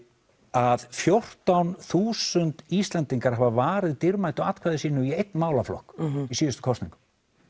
að fjórtán þúsund Íslendingar hafa varið dýrmætu atkvæði sínu í einn málaflokk í síðustu kosningum